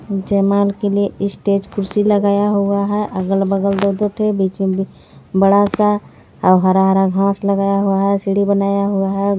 के लिए ईस्टेज कुर्सी लगाया हुआ है अगल-बगल बीच में बड़ा सा हरा हरा घास लगाया हुआ है सिढी बनाया हुआ है.